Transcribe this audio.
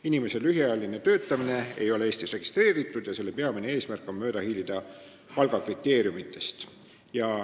Inimese lühiajaline töötamine ei ole Eestis registreeritud ja selle peamine eesmärk on mööda hiilida palgakriteeriumide täitmisest.